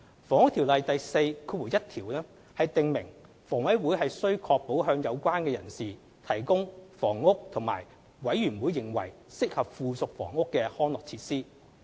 《房屋條例》第41條訂明房委會須確保向有關人士提供房屋和"委員會認為適合附屬房屋的康樂設施"。